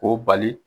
K'o bali